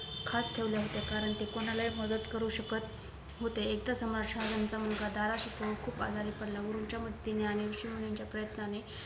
खास ठेवल्या होत्या कारण ते कोणालाही मदद करू शकत होते एकदा शहाजान्ह यांचा मुलगा दाराशिकोह खूप आजारी पडला गुरूंच्या मदतीने आणि ऋषी मुनींच्या प्रयन्तांने